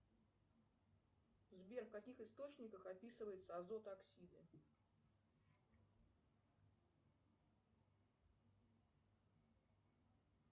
сбер в каких источниках описывается азот оксиды